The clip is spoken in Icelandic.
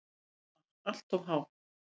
SVAR Allt of há.